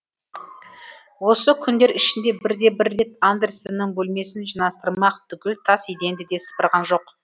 осы күндер ішінде бірде бір рет андерсеннің бөлмесін жинастырмақ түгіл тас еденді де сыпырған жоқ